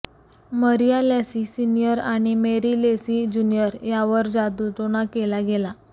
मरीया Lacy senior आणि Mary Lacy junior यावर जादूटोणा केला गेला